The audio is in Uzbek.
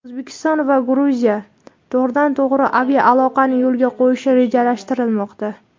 O‘zbekiston va Gruziya to‘g‘ridan-to‘g‘ri aviaaloqani yo‘lga qo‘yishi rejalashtirilmoqda.